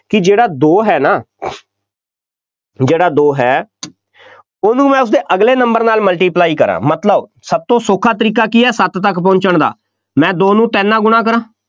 ਕਿ ਜਿਹੜਾ ਦੋ ਹੈ ਨਾ ਜਿਹੜਾ ਦੋ ਹੈ ਉਹਨੂੰ ਮੈਂ ਉਸਦੇ ਅਗਲੇ number ਦੇ ਨਾਲ multiply ਕਰਾਂ, ਮਤਲਬ ਸਭ ਤੋਂ ਸੌਖਾ ਤਰੀਕਾ ਕੀ ਹੈ, ਸੱਤ ਤੱਕ ਪਹੁੰਚਣ ਦਾ, ਮੈਂ ਦੋ ਨੂੰ ਤਿੰਨ ਨਾਲ ਗੁਣਾ ਕਰਾਂ,